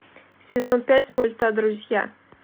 сезон пять мульта друзья